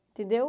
Entendeu?